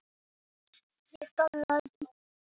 pepp, sveppi og svartan pipar Hvernig gemsa áttu?